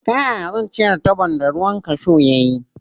Ta yaya zan cire tabon da ruwan kashu ya yi?